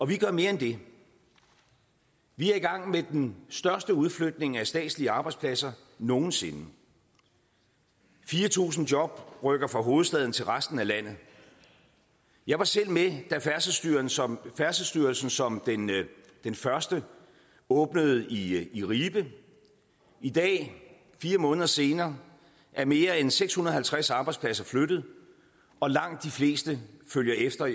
vi gør mere end det vi er i gang med den største udflytning af statslige arbejdspladser nogen sinde fire tusind job rykker fra hovedstaden til resten af landet jeg var selv med da færdselsstyrelsen som færdselsstyrelsen som den første åbnede i i ribe i dag fire måneder senere er mere end seks hundrede og halvtreds arbejdspladser flyttet og langt de fleste følger efter